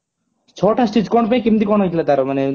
ଛଅ ଟା stich କଣ ପାଇଁ କେମିତି କଣ ହେଇଥିଲା ତାର